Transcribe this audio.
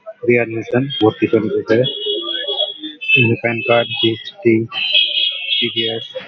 Deer listen PAN card GST TDS.